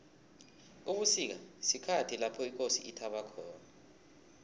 ubusika sikhathi lapho ikosi ithaba khona